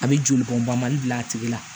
A bɛ jolibɔnbali bila a tigi la